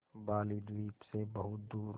बालीद्वीप सें बहुत दूर